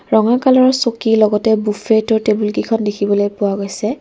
ৰঙা কালাৰৰ চকী লগতে বুফেটো টেবুল কেইখন দেখিবলৈ পোৱা গৈছে।